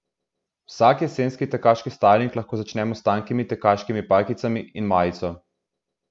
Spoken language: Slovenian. Vsak jesenski tekaški stajling lahko začnemo s tankimi tekaškimi pajkicami in majico.